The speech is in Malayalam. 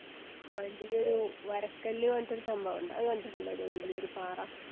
വലിയൊരു വരക്കല്ല് പറഞ്ഞിട്ടൊര് സംഭവോണ്ട് അത് കണ്ടിട്ടുണ്ടോ ഒരു വലിയൊരു പാറ